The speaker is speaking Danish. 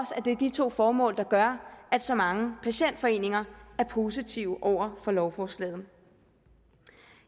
at det er de to formål der gør at så mange patientforeninger er positive over for lovforslaget